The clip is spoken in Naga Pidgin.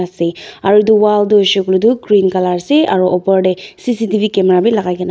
Ase aro edu wall toh hoishey koilae toh green colour ase aro opor tae C_C_T_V camera bi lakai kena--